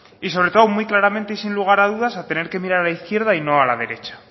y sobre todo muy claramente y sin lugar a dudas a tener que mirar a izquierda y no a la derecha